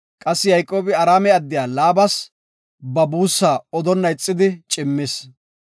Qassi Yayqoobi Araame addiya Laabas ba buussaa odonna ixidi cimmis.